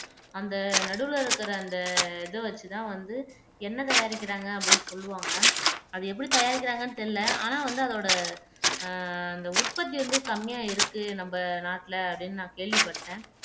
அந்த நடுவுல இருக்கிற அந்த இதை வச்சுதான் வந்து எண்ணெய் தயாரிக்கிறாங்க அப்படின்னு சொல்லுவாங்க அது எப்படி தயாரிக்கிறாங்கன்னு தெரியல ஆனா வந்து அதோட அஹ் அந்த உற்பத்தி வந்து கம்மியா இருக்கு நம்ம நாட்டுல அப்படின்னு நான் கேள்விப்பட்டேன்